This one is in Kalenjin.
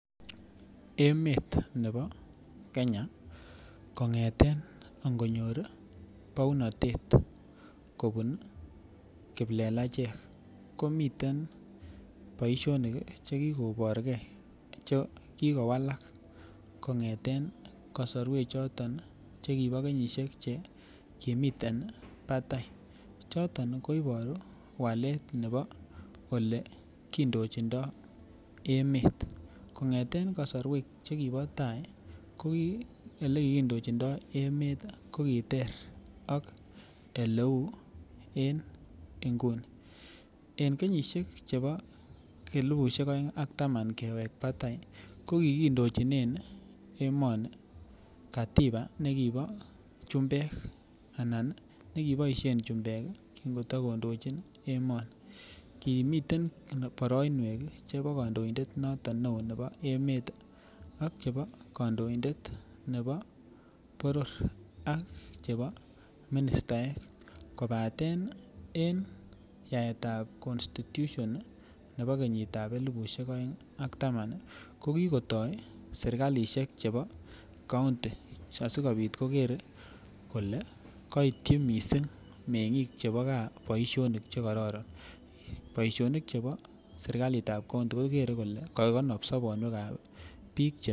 Emet nebo Kenya kongeten ikonor bounotet kobun kiplelechek komiten boishonik chekikoburgee chekikowalak kongeten kosorwek choton nii chekibo kenyishek chekimiten patai, choto koiboru walet nebo olekindochindo emet. Kongeten kosorwek chekibo tai kokiolekikindochindo emet ko kiter ak oleu en inguni, en kenyishek fhebo6 elibushek oeng ak taman kewek patai ko kikindochinen emoni katiba nekibo chumbek ana nekiboishen chumbek kin kotokondochi emoni. Kimiten boroinwek chebo kondoindetab noton neo nebo emet ak chebo kondoindet chebo boror ak ministaek kopaten en yaetab constitution nebo kenyitab elibushek oeng ak taman nii ko kikoto sirkaishek chebo county asikopit kokere kole koityi missing mengik chebo gaa boishonik chekororon sirkalitab county koker kole kokonin sobonywekab bik che.